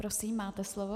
Prosím, máte slovo.